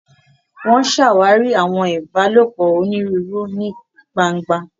Wọn ṣàwarí awọn ìbálòpọ̀ onírúurú ní gbángba.